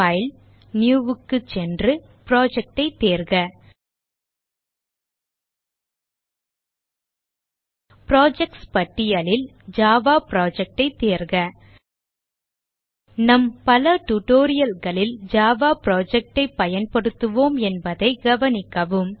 file Newக்கு சென்று Project ஐ தேர்க புரொஜெக்ட்ஸ் பட்டியலில் ஜாவா Project ஐ தேர்க நம் பல tutorial களில் ஜாவா project ஐ பயன்படுத்துவோம் என்பதைக் கவனிக்கவும்